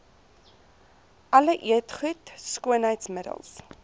alle eetgoed skoonheidsmiddels